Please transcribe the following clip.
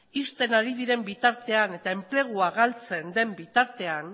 ixten ari diren bitartean eta enplegua galtzen den bitartean